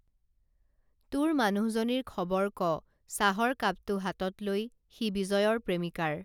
তোৰ মানুহজনীৰ খবৰ ক চাহৰ কাপটো হাতত লৈ সি বিজয়ৰ প্ৰেমিকাৰ